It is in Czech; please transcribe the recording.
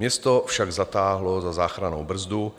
Město však zatáhlo za záchrannou brzdu